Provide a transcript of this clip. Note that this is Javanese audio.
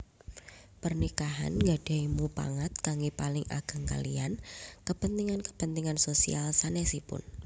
Pernikahan gadahi mupangat kangge paling ageng kaliyan kepentingan kepentingan sosial sanesipun